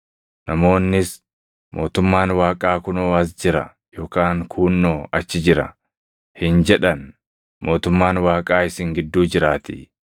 namoonnis, ‘Mootummaan Waaqaa kunoo as jira’ yookaan ‘Kuunnoo achi jira’ hin jedhan; mootummaan Waaqaa isin gidduu jiraatii.”